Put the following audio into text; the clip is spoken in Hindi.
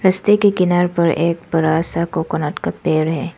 रास्ते के किनारे पर एक बड़ा सा कोकोनट का पेड़ है।